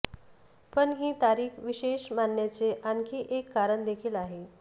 पण ही तारीख विशेष मानण्याचं आणखी एक कारण देखील आहे